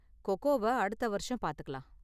கோ கோவ அடுத்த வருஷம் பாத்துக்கலாம்.